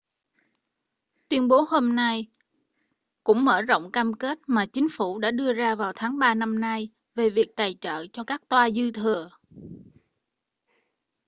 tuyên bố hôm nay cũng mở rộng cam kết mà chính phủ đã đưa ra vào tháng ba năm nay về việc tài trợ cho các toa dư thừa